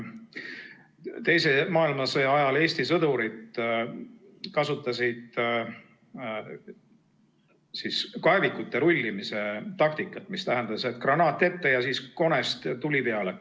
Teise maailmasõja ajal kasutasid Eesti sõdurid kaevikute rullimise taktikat, mis tähendas seda, et granaat ette ja konest tuli peale.